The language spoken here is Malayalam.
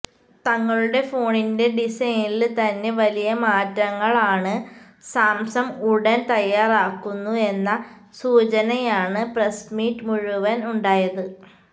തങ്ങളുടെ ഫോണിന്റെ ഡിസൈനില് തന്നെ വലിയ മാറ്റങ്ങളാണ് സാംസങ്ങ് ഉടന് തയ്യാറാകുന്നു എന്ന സൂചനയാണ് പ്രസ്മീറ്റ് മുഴുവന് ഉണ്ടായത്